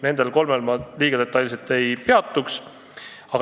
Nendel kolmel ettepanekul ma detailselt ei peatu.